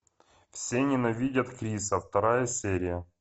все ненавидят криса вторая серия